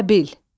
Təbil.